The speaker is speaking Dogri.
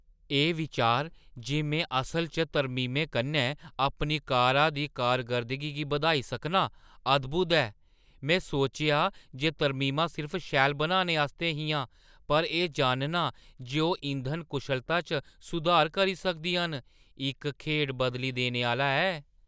एह् बिचार जे में असलै च तरमीमें कन्नै अपनी कारा दी कारकर्दगी गी बधाई सकनां, अद्‌भुत ऐ। में सोचेआ जे तरमीमां सिर्फ शैल बनाने आस्तै हियां, पर एह् जानना जे ओह् इंधन कुशलता च सुधार करी सकदियां न, इक खेढ बदली देने आह्‌ला ऐ।